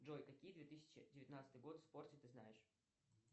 джой какие две тысячи девятнадцатый год в спорте ты знаешь